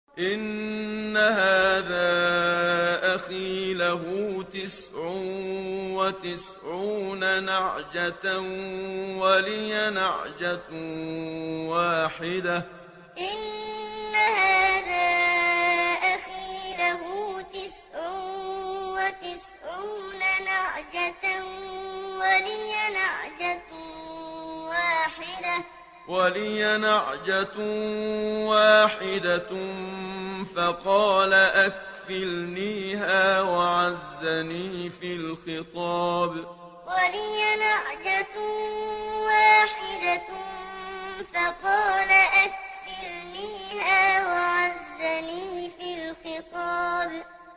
إِنَّ هَٰذَا أَخِي لَهُ تِسْعٌ وَتِسْعُونَ نَعْجَةً وَلِيَ نَعْجَةٌ وَاحِدَةٌ فَقَالَ أَكْفِلْنِيهَا وَعَزَّنِي فِي الْخِطَابِ إِنَّ هَٰذَا أَخِي لَهُ تِسْعٌ وَتِسْعُونَ نَعْجَةً وَلِيَ نَعْجَةٌ وَاحِدَةٌ فَقَالَ أَكْفِلْنِيهَا وَعَزَّنِي فِي الْخِطَابِ